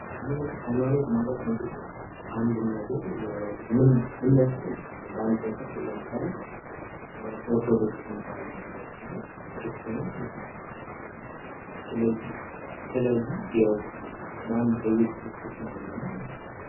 ሐይማኖት ማለት እንግዲህ አንድን ነገር እምነት ማለት ነው። በአንድን ነገር አሁን ለምሳሌ ኦርቶዶክስ የሚባል ሐይማኖት አለ ክርስቲያን ማለት ነው። ስለዚህ ስለዚህ ያው በአንድ በኢየሱስ ክርስቶስ ማመን ነው።